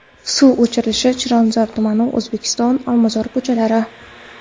Suv o‘chirilishi Chilonzor tumani: O‘zbekiston, Olmazor ko‘chalari.